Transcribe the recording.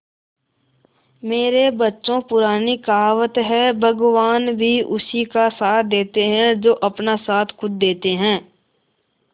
मेरे बच्चों पुरानी कहावत है भगवान भी उसी का साथ देते है जो अपना साथ खुद देते है